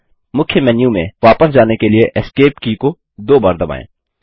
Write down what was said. मुख्य मेन्यू में वापस जाने के लिए एस्केप की को दो बार दबाएँ